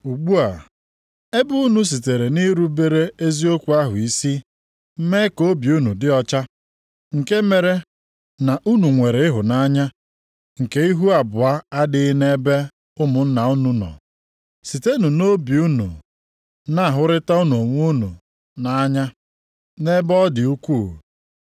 Ugbu a, ebe unu sitere nʼirubere eziokwu ahụ isi mee ka obi unu dị ọcha, nke mere na unu nwere ịhụnanya nke ihu abụọ nʼadịghị nʼebe ụmụnna unu nọ, sitenụ nʼobi unu na-ahụrịtanụ onwe unu nʼanya nʼebe ọ dị ukwuu.